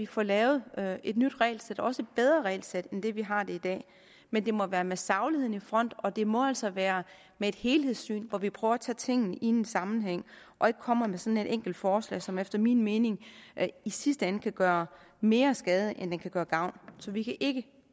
får lavet et nyt regelsæt også et bedre regelsæt end det vi har i dag men det må være med sagligheden i front og det må altså være med et helhedssyn hvor vi prøver at se tingene i en sammenhæng og ikke kommer med sådan et enkelt forslag som efter min mening i sidste ende kan gøre mere skade end det kan gøre gavn så vi kan ikke